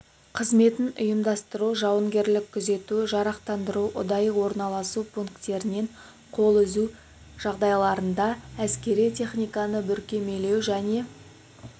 қызметін ұйымдастыру жауынгерлік күзету жарақтандыру ұдайы орналасу пункттерінен қол үзу жағдайларында әскери техниканы бүркемелеу және